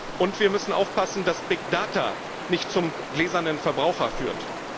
Und wir müssen aufpassen, dass big data nicht zum gläsernen Verbraucher führt.